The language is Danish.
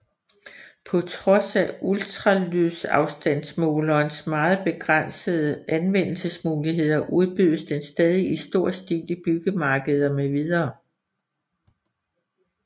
På trods af ultralydsafstandsmålerens meget begrænsede anvendelsesmuligheder udbydes den stadig i stor stil i byggemarkeder mv